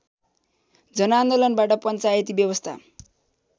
जनआन्दोलनबाट पञ्चायती व्यवस्था